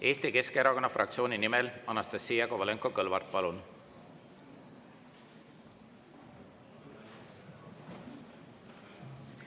Eesti Keskerakonna fraktsiooni nimel Anastassia Kovalenko-Kõlvart, palun!